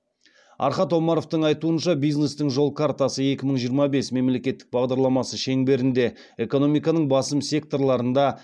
архат омаровтың айтуынша бизнестің жол картасы екі мың жиырма бес мемлекеттік бағдарламасы шеңберінде экономиканың басым секторларында